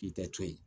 K'i tɛ to yen